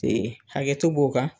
hakɛto b'o kan